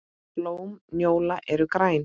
Blóm njóla eru græn.